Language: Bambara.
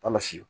Kɔlɔsi